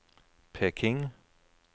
Peking